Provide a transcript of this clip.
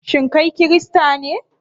Shin kai Kirista ne?